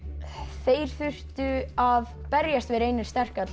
þeir þurftu að berjast við Reyni sterka til að